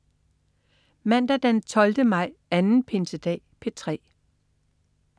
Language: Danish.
Mandag den 12. maj. Anden pinsedag - P3: